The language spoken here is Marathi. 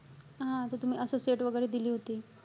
हा, त तुम्ही associate वगैरे दिली होती.